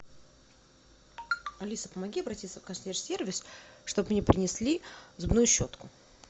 алиса помоги обратиться в консьерж сервис чтобы мне принесли зубную щетку